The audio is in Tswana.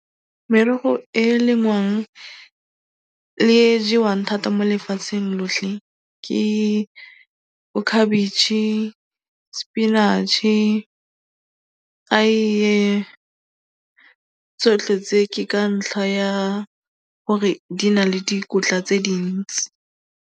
Merogo e e lengwang le e e jewang thata mo lefatsheng lotlhe ke bokhabetšhe, spinach-e, aeye, tsotlhe tse ke ka ntlha ya gore di na le dikotla tse dintsi.